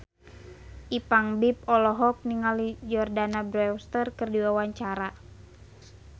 Ipank BIP olohok ningali Jordana Brewster keur diwawancara